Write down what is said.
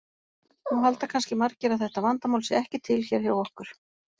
Nú halda kannski margir að þetta vandamál sé ekki til hér hjá okkur.